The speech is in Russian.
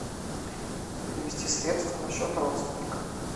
перевести средства на счет родственника